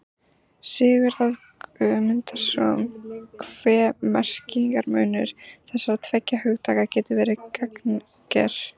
Sigurðar Guðmundssonar hve merkingarmunur þessara tveggja hugtaka getur verið gagnger.